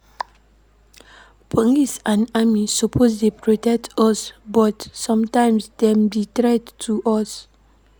Police and army suppose dey protect us but sometimes dem be threat to us.